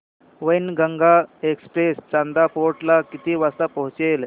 Wainganga express Chanda fort ला किती वाजता पोहचते